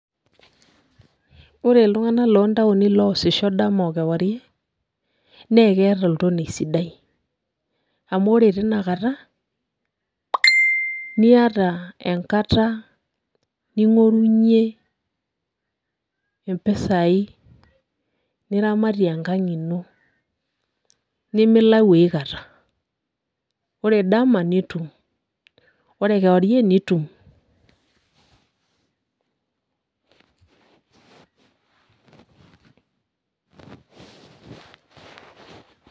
Wore iltunganak loontaoni loosisho dama okewarie, nee keeta oltonie sidai. Amu wore teniakata, niata enkata ningorunyie impisai niramatie enkang ino. Nimilayu aikata, wore dama nitum, wore kewarie nitum.